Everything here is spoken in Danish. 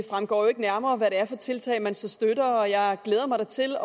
fremgår jo ikke nærmere hvad det er for tiltag man så støtter jeg glæder mig da til